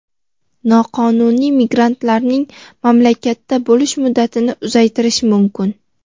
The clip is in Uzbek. noqonuniy migrantlarning mamlakatda bo‘lish muddatini uzaytirishi mumkin.